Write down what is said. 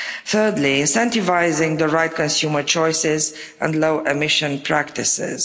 Thirdly, incentivising the right consumer choices and low-emissions practices.